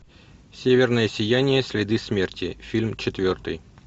северное сияние следы смерти фильм четвертый